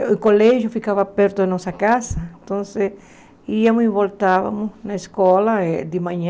O colégio ficava perto da nossa casa, então íamos e voltávamos na escola eh de manhã